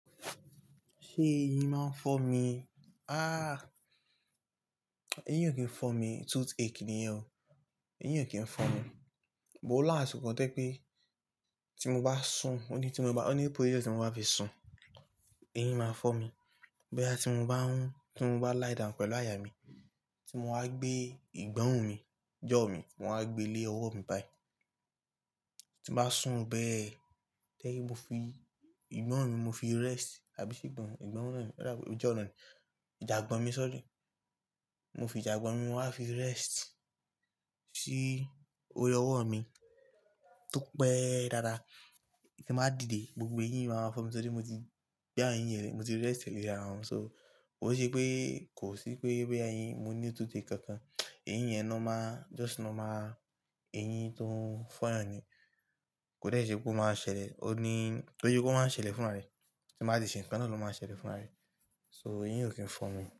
Ṣé eyín máa ń fọ́ mi? Ah! Eyín ò kí ń fọ́ mi, toothache nìyẹn o. Eyín ò kí ń fọ́ mi. But last, ko tẹ́ pé tí mo bá sùn, o ní tí mo bá, o ní position tí mo bá fi sùn, eyín máa fọ́ mi. Boya tí mo bá ń, tí mo bá liedowm pẹ̀lú àyà mi, tí mo wa gbé ìgbọ́run mi, jaw mi, mo wa gbé lé ọwọ́ mi báyí. Tí bá sùn bẹ́ẹ̀, tẹ́ kí n fi ìgbọ́run mi mo fi rest àbíṣí ìgborunn, ìgbọ́ràn ni, rárá jaw ni, jagbọ̀n mi sorry. Mo fi jagbọ̀n mi wá fi rest sí orí ọwọ́ mi tó pẹ́ dádá, tí màá dìde gbogbo eyín máa fọ́ mi torí mo ti, bí eyìn yẹn, mo ti rest leri ara wọn. So ó ṣe pé kò sí pé bí eyín, mo ní toothache kankan. Eyín yẹn normal, just normal, eyín tó ń fine ni. Kò dẹ́ ṣe pé ó máa ṣẹlẹ̀, o ní, tó yẹ kó máa ṣẹlẹ̀ fún ara rẹ̀, tí màá ṣe ǹkan náà ló máa ṣẹlẹ̀ fún ara rẹ̀. So eyín ò kí ń fọ́ mi.